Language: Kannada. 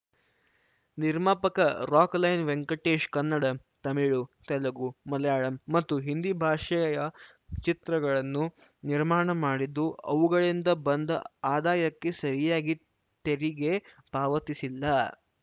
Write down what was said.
ನಿರ್ಮಾಪಕ ರಾಕ್‌ಲೈನ್‌ ವೆಂಕಟೇಶ್‌ ಕನ್ನಡ ತಮಿಳು ತೆಲುಗು ಮಾಲಯಾಳಂ ಮತ್ತು ಹಿಂದಿ ಭಾಷೆಯ ಚಿತ್ರಗಳನ್ನು ನಿರ್ಮಾಣ ಮಾಡಿದ್ದು ಅವುಗಳಿಂದ ಬಂದ ಆದಾಯಕ್ಕೆ ಸರಿಯಾಗಿ ತೆರಿಗೆ ಪಾವತಿಸಿಲ್ಲ